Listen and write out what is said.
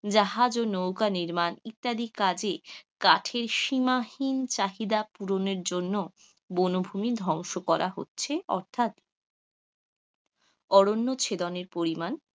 জাহাজ ও নৌকা নির্মাণ, ইত্যাদি কাজে কাঠের সীমাহীন চাহিদা পুরণের জন্য বন ভুমি ধ্বংস করা হচ্ছে, অর্থাৎ অরণ্য ছেদনের পরিমাণ,